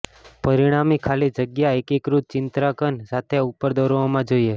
પરિણામી ખાલી જગ્યા એકીકૃત ચિત્રાંકન સાથે ઉપર દોરવામાં જોઈએ